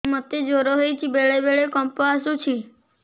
ମୋତେ ଜ୍ୱର ହେଇଚି ବେଳେ ବେଳେ କମ୍ପ ଆସୁଛି